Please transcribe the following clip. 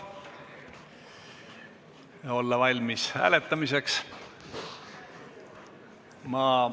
Olla valmis hääletamiseks!